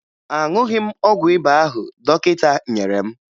Aṅụghị m ọgwụ ịba ahụ dọkịta nyere m